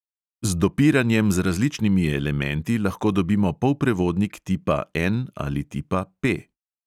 Z dopiranjem z različnimi elementi lahko dobimo polprevodnik tipa N ali tipa P.